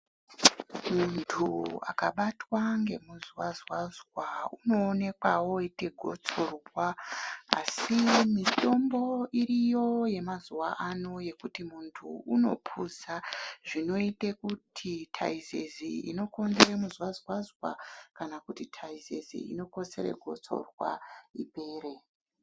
Muntu akabatwa ngemuzwazwazwa unoonekwa woite gotsorwa asi mitombo iriyo yemazuwano yekuti muntu unopuza zvinoite kuti taizizi inokonzere muzwazwazwa kana kuti taizizi inokonzere gotsorwa ipere.